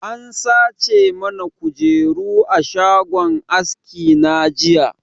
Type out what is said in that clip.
An sace mana kujeru a shagon aski na jiya